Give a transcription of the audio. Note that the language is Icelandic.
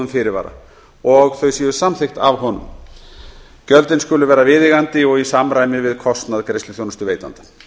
fyrirvara og þau séu samþykkt af honum gjöldin skulu vera viðeigandi og í samræmi við kostnað greiðsluþjónustuveitanda